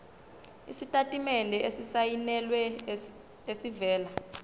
isitatimende esisayinelwe esivela